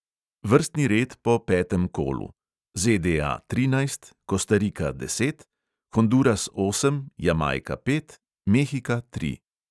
Vrstni red po petem kolu: ZDA trinajst, kostarika deset, honduras osem, jamajka pet, mehika tri.